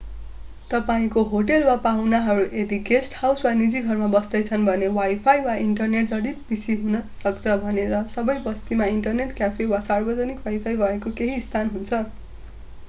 तपाईंको होटेल वा पाहुनाहरू यदि गेस्ट हाउस वा निजी घरमा बस्दैछन् भने वाईफाई वा इन्टरनेट जडित पीसी हुन सक्छ भने र सबै बस्तीमा ईन्टरनेट क्याफे वा सार्वजनिक वाईफाई भएको केहि स्थान हुन्छ।